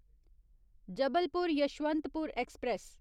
Jabalpur Yesvantpur express